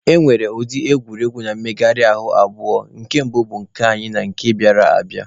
E nwere ụdị egwuregwu na mmegharị ahụ abụọ nke bụ nke anyị na nke bịara abịa.